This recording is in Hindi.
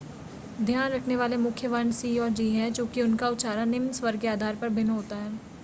ध्यान रखने वाले मुख्य वर्ण c और g है चूंकि उनका उच्चारण निम्न स्वर के आधार पर भिन्न होता है